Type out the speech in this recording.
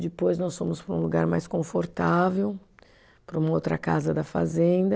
Depois nós fomos para um lugar mais confortável, para uma outra casa da fazenda.